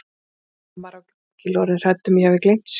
Mamma er ábyggilega orðin hrædd um að ég hafi gleymt sér.